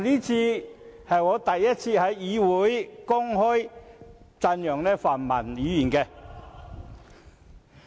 這是我首次在議會公開讚揚泛民議員。